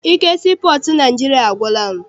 Ike sii pọọtụ Naịjirịa agwụla m.